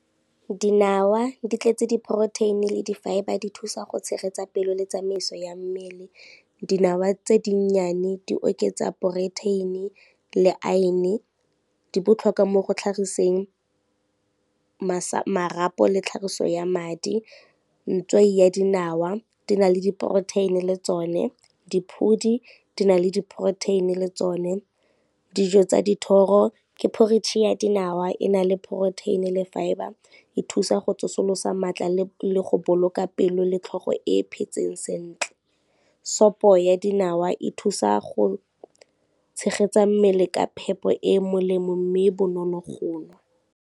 Dinawa di tletse di-protein-i le di-fibre di thusa go tshegetsa pelo le tsamaiso ya mmele. Dinawa tse di nnyane di oketsa protein-i le iron, di botlhokwa mo go tlhagiseng marapo le tlhagiso ya madi, ya dinawa di na le di-protein-i le tsone, diphodi di na le di-protein-i le tsone. Dijo tsa dithoro ke porridge ya dinawa e na le protein le fibre e thusa go tsosolosa matla le go boloka pelo le tlhogo e phetseng sentle, sopo ya dinawa e thusa go tshegetsa mmele ka phepo e e molemo mme e bonolo go nwa.